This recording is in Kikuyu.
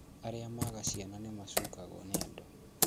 Arĩa maga ciana nĩmacukagwo nĩ andũ